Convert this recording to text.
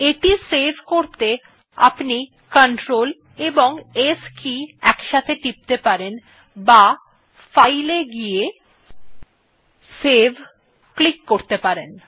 এটি সেভ করতে আপনি Clts টিপতে পারেন অথবা ফাইল এ গিয়ে save এ ক্লিক করতে পারেন